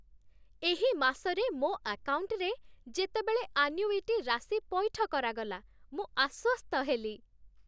ଏହି ମାସରେ ମୋ ଆକାଉଣ୍ଟରେ ଯେତେବେଳେ ଆନ୍ୟୁଇଟି ରାଶି ପୈଠ କରାଗଲା, ମୁଁ ଆଶ୍ୱସ୍ତ ହେଲି।